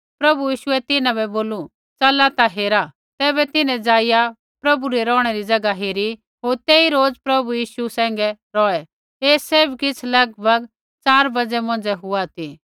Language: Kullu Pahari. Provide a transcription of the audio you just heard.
प्रभु यीशुऐ तिन्हां बै बोलू 9 च़ला ता हेरा तैबै तिन्हैं जाईया प्रभु री रौहणै री ज़ैगा हेरी होर तेई रोज़ प्रभु यीशु सैंघै रौहै ऐ सैभ किछ़ लगभग च़ार बाज़ै मौंझ़ै हुआ ती